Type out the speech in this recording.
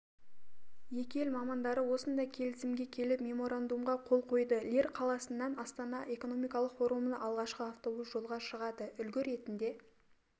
екі ел мамандары осындай келісімге келіп меморандумға қол қойды лир қаласынан астана экономикалық форумына алғашқы автобус жолға шығады үлгі ретінде